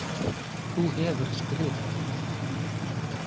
Þú hefur skrifað.